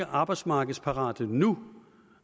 arbejdsmarkedsparate nu